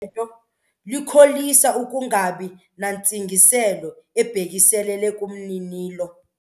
Likholisa ukungabi nantsingiselo ebhekiselele kumninilo.